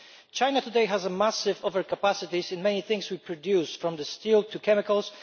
China today has a massive overcapacity in many things we produce, from steel to chemicals.